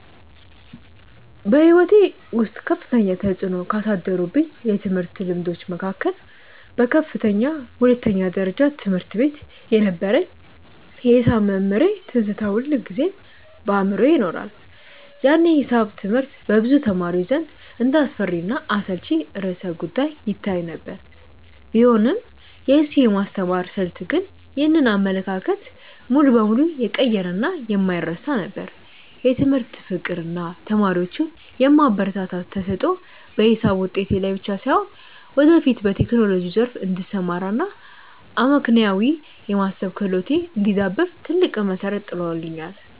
በሕይወቴ ውስጥ ከፍተኛ ተፅዕኖ ካሳደሩብኝ የትምህርት ልምዶች መካከል በከፍተኛ ሁለተኛ ደረጃ ትምህርት ቤት የነበረኝ የሒሳብ መምህሬ ትዝታ ሁልጊዜም በአእምሮዬ ይኖራል። ያኔ ሒሳብ ትምህርት በብዙ ተማሪዎች ዘንድ እንደ አስፈሪና አሰልቺ ርዕሰ-ጉዳይ ይታይ የነበረ ቢሆንም፣ የእሱ የማስተማር ስልት ግን ይህንን አመለካከት ሙሉ በሙሉ የቀየረና የማይረሳ ነበር። የትምህርት ፍቅር እና ተማሪዎቹን የማበረታታት ተሰጥኦ በሒሳብ ውጤቴ ላይ ብቻ ሳይሆን፣ ወደፊት በቴክኖሎጂው ዘርፍ እንድሰማራ እና አመክንዮአዊ የማሰብ ክህሎቴ እንዲዳብር ትልቅ መሠረት ጥሎልኛል።